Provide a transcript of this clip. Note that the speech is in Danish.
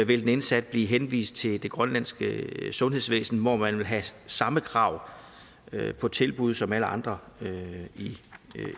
vil den indsatte blive henvist til det grønlandske sundhedsvæsen hvor man vil have samme krav på tilbud som alle andre